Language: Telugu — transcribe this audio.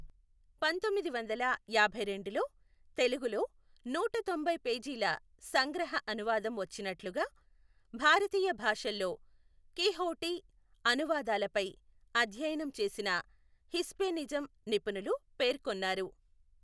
పంతొమ్మిది వందల యాభైరెండులో తెలుగులో నూటతొంభై పేజీల సంగ్రహ అనువాదం వచ్చినట్లుగా భారతీయ భాషల్లో కీహొవ్టి అనువాదాలపై అధ్యయనం చేసిన హిస్పెనిౙం నిపుణులు పేర్కొన్నారు.